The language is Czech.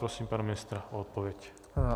Prosím pana ministra o odpověď.